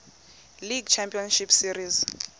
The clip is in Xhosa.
league championship series